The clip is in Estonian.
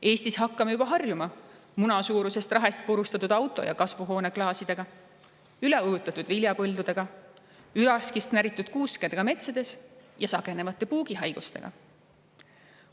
Eestis hakkame juba harjuma munasuurusest rahest purustatud auto- ja kasvuhooneklaasidega, üleujutatud viljapõldudega, üraskist näritud kuuskedega metsades ja sagenevate puugihaigustega.